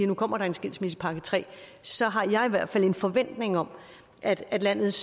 nu kommer der en skilsmissepakke tre så har jeg i hvert fald en forventning om at at landets